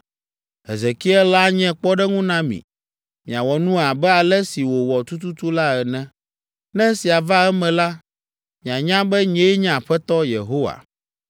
Hezekiel anye kpɔɖeŋu na mi. Miawɔ nu abe ale si wòwɔ tututu la ene. Ne esia va eme la, mianya be nyee nye Aƒetɔ Yehowa.’